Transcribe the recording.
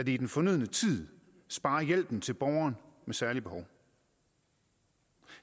i den fornødne tid sparer hjælpen til borgeren med særlige behov